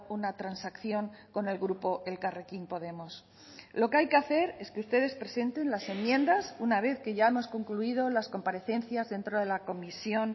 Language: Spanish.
una transacción con el grupo elkarrekin podemos lo que hay que hacer es que ustedes presenten las enmiendas una vez que ya hemos concluido las comparecencias dentro de la comisión